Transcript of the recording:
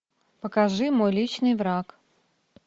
покажи мой личный враг